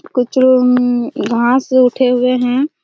कुछ लोग उम्म घाँस से उठे हुए है।